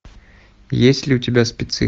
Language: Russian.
есть ли у тебя спецы